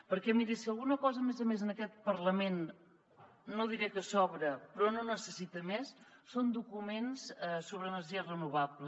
perquè miri si alguna cosa a més a més en aquest parlament no diré que sobra però no necessita més són documents sobre energies renovables